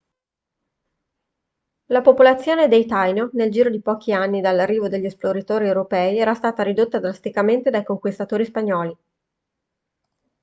la popolazione dei taino nel giro di pochi anni dall'arrivo degli esploratori europei era stata ridotta drasticamente dai conquistatori spagnoli